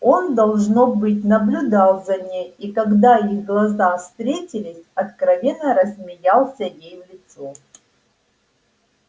он должно быть наблюдал за ней и когда их глаза встретились откровенно рассмеялся ей в лицо